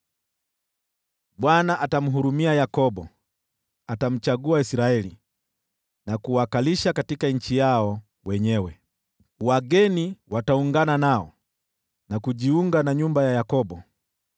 Bwana atamhurumia Yakobo, atamchagua Israeli tena, na kuwakalisha katika nchi yao wenyewe. Wageni wataungana nao na kujiunga na nyumba ya Yakobo.